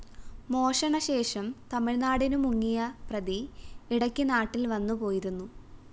മോഷണ ശേഷം തമിഴ്‌നാടിനു മുങ്ങിയ പ്രതി ഇടയ്ക്ക് നാട്ടില്‍ വന്നുപോയിരുന്നു